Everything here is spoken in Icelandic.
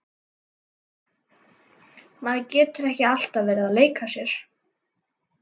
Maður getur ekki alltaf verið að leika sér.